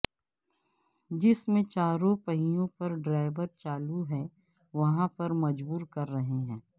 جس میں چاروں پہیوں پر ڈرائیو چالو ہے وہاں پر مجبور کر رہے ہیں